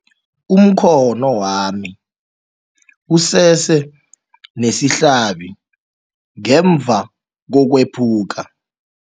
Umkhono wami usese nesihlabi ngemva kokwephuka.